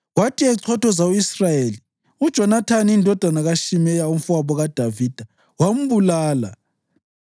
Kwathi echothoza u-Israyeli, uJonathani indodana kaShimeya, umfowabo kaDavida, wambulala.